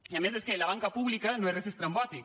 i a més és que la banca pública no és res estrambòtic